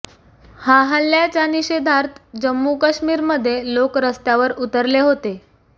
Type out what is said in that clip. हा हल्ल्याच्या निषेधार्थ जम्मू काश्मीरमध्ये लोक रस्त्यावर उतरले होते